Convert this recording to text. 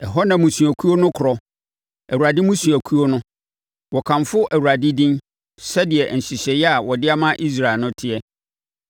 Ɛhɔ na mmusuakuo no korɔ, Awurade mmusuakuo no. Wɔkɔkamfo Awurade din sɛdeɛ nhyehyɛeɛ a wɔde ama Israel no teɛ.